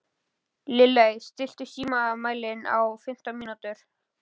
Lilley, stilltu tímamælinn á fimmtán mínútur.